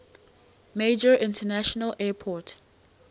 major international airport